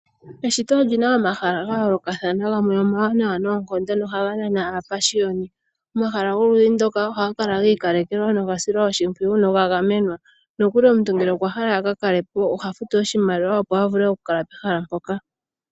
Eshito oli na omahala ga yoolokathana, gamwe omawanawa noonkondo nohaga nana aapashiyoni. Omahala goludhi ndoka, ohaga kala giikalekelwa, nogasilwa oshimpwiyu noga gamenwa. Noku li omuntu ngele okwa hala a kakale po oha futu oshimaliwa opo a vule oku kala pehala mpoka.